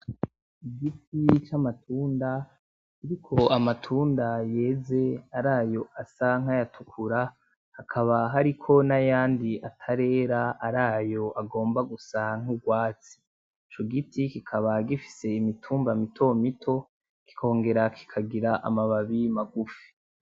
Igiti c'amatunda kiriko amatunda yeze arayo asa nkayatukura, hakaba hariko n’ayandi atarera arayo agomba gusa nk'urwatsi, ico giti kikaba gifise imitumba mitomito kikongera kikagira amababi magufi.